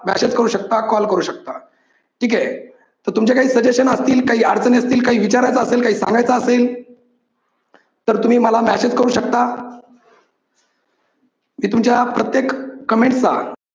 message करू शकता call करू शकता. ठीक आहे, तर तुमचे काही suggestions असतील, काही अडचणी असतील, काही विचारायचं असेल, काही सांगायचं असेल तर तुम्ही मला message करू शकता. मी तुमच्या प्रत्येक comment चा